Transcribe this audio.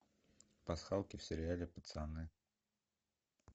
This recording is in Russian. пасхалки в сериале пацаны